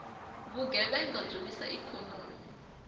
vugevhenga byi wisa ikhonomi